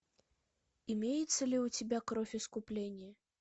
имеется ли у тебя кровь искупления